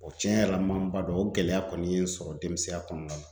O cɛn yɛrɛ la n ma n ba dɔn o gɛlɛya kɔni ye n sɔrɔ denmisɛnya kɔnɔna na